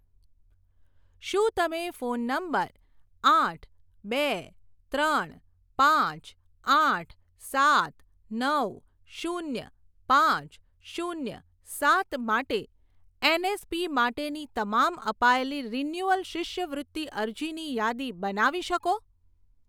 શું તમે phone number આઠ બે ત્રણ પાંચ આઠ સાત નવ શૂન્ય પાંચ શૂન્ય સાત માટે એનએસપી માટેની તમામ અપાયેલી રિન્યુઅલ શિષ્યવૃત્તિ અરજીની યાદી બનાવી શકો?